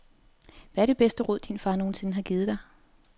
Hvad er det bedste råd, din far nogensinde har givet dig?